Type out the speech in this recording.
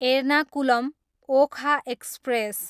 Ernakulam, Okha express